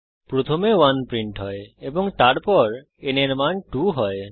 প্রথমে 1 প্রিন্ট হয় এবং তারপর n এর মান 2 হয়